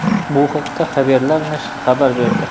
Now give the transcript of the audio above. Bu haqda Haberler nashri xabar berdi .